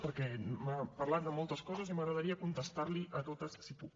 perquè m’ha parlat de moltes coses i m’agradaria contestar li a totes si puc